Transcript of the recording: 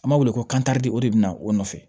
An b'a wele ko de o de bɛna o nɔfɛ